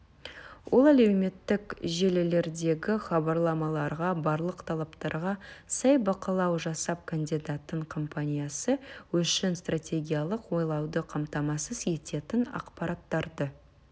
ол әлеуметтік желілердегі хабарламаларға барлық талаптарға сай бақылау жасап кандидаттың компаниясы үшін стратегиялық ойлауды қамтамасыз ететін ақпараттарды